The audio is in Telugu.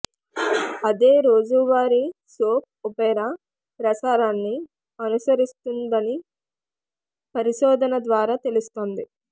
అదే రోజువారీ సోప్ ఒపెరా ప్రసారాన్ని అనుసరిస్తుందని పరిశోధన ద్వారా తెలుస్తుంది